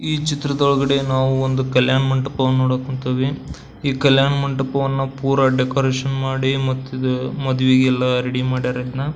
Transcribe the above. ಈ ಚಿತ್ರದೊಳಗಡೆ ನಾವು ಒಂದು ಕಲ್ಯಾಣ ಮಂಟಪವನ್ನ ನೋಡಕ್ಹೊಂತಿವಿ ಈ ಕಲ್ಯಾಣ ಮಂಟಪವನ್ನ ಪೂರಾ ಡೆಕೋರೇಷನ್ ಮಾಡಿ ಮತ್ತಿದ ಮದ್ವೆಗೆಲ್ಲ ರೆಡಿ ಮಾಡ್ಯಾರ ಇದನ್ನ.